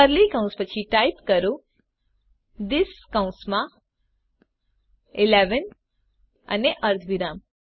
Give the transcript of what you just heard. curly કૌંસ પછી type કરો થિસ કૌંસમાં 11 અને અર્ધવિરામ